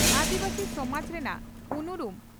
ᱟᱹᱫᱤᱵᱟᱹᱥᱤ ᱥᱚᱢᱟᱡᱽ ᱨᱮᱱᱟᱜ ᱩᱱᱩᱨᱩᱢ